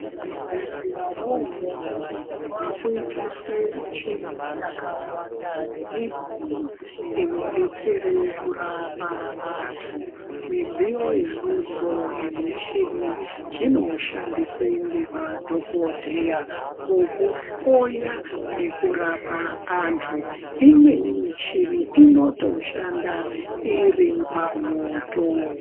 Muzvibhehleya mwona imwomwo makuitiswa michini yakawanda nemidziyo inodetsera kurapa vantu midziyo idzodzo nemichini zvinoshandiswa ngemadokodheya mukuhloya nekurapa vantu kwaakuitiswa michini yakawanda nemidziyo inodetsera kurapa vantu midziyo idzodzo ne michini zvinoshandiswa ngemadokodheya mukuhloya nekurapa antu imweni michini inotoshanda iripamwoto.